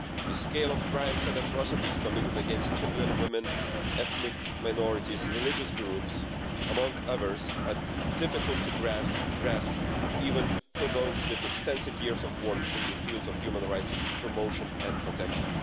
The scale of crimes and atrocities committed against children, women, ethnic minorities and religious groups, among others, are difficult to grasp even for those with extensive years of work in the field of human rights promotion and protection.